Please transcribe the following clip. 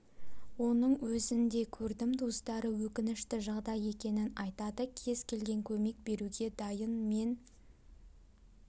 оның өзін де көрдім туыстары өкінішті жағдай екенін айтады кез келген көмек беруге дайын мен